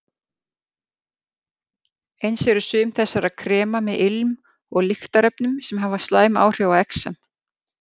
Eins eru sum þessara krema með ilm- og lyktarefnum sem hafa slæm áhrif á exem.